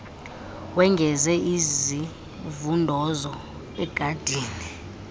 wengeze izivundoso egadini